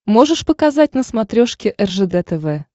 можешь показать на смотрешке ржд тв